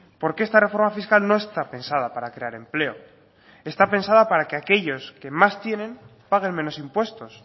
porque esta reforma fiscal no está pensada para crear empleo está pensada para que aquellos que más tienen paguen menos impuestos